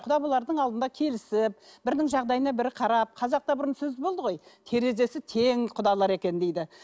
құда болардың алдында келісіп бірінің жағдайына бірі қарап қазақта бұрын сөз болды ғой терезесі тең құдалар екен дейді